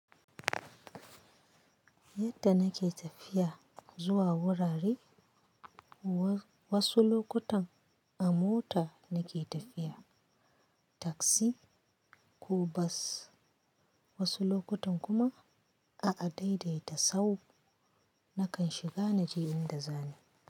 Yadda nake tafiya zuwa wurare, wasu lokutan a mota nake tafiya, taksi ko bas, wasu lokutan kuma a adaidaita sahu nakan shiga naje inda zani.